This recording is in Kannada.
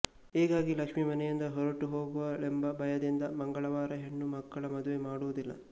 ಹೀಗಾಗಿ ಲಕ್ಷ್ಮಿ ಮನೆಯಿಂದ ಹೊರಟು ಹೋಗುವಳೆಂಬ ಭಯದಿಂದ ಮಂಗಳವಾರ ಹೆಣ್ಣು ಮಕ್ಕಳ ಮದುವೆ ಮಾಡುವುದಿಲ್ಲ